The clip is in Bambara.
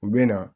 U bɛ na